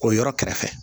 O yɔrɔ kɛrɛfɛ